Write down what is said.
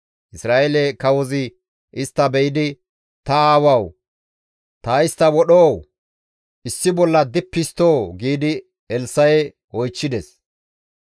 Isra7eele kawozi istta be7idi, «Ta aawawu! Ta istta wodhoo? Issi bolla dippi histtoo?» giidi Elssa7e oychchides.